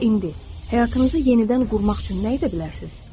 Elə indi həyatımızı yenidən qurmaq üçün nə edə bilərsiniz?